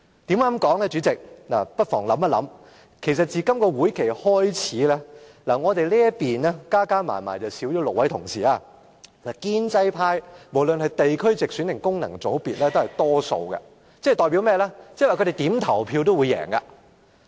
大家不妨想一想，自今屆會期開始，我們這邊少了6位同事，而建制派，無論是地區直選或功能界別的議員，都佔大多數，即他們在任何情況下投票都會贏。